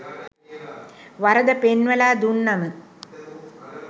වරද පෙන්වලා දුන්නම